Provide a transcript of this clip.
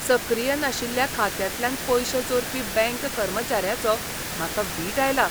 सक्रीय नाशिल्ल्या खात्यांतल्यान पयशे चोरपी बँक कर्मचाऱ्याचो म्हाका वीट आयला.